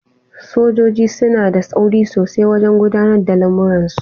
Sojoji suna da tsauri sosaiwajen gudanar da lamurransu.